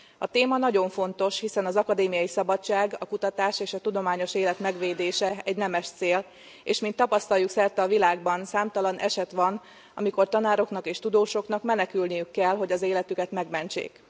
A téma nagyon fontos, hiszen az akadémiai szabadság, a kutatás és a tudományos élet megvédése egy nemes cél, és mint tapasztaljuk, szerte a világban számtalan eset van, amikor tanároknak és tudósoknak menekülniük kell, hogy az életüket megmentsék.